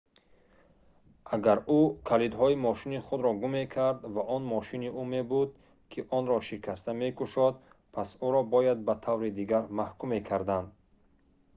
агар ӯ калидҳои мошини худро гум мекард ва он мошини ӯ мебуд ки онро шикаста мекушод пас ӯро бояд ба таври дигар маҳкум мекарданд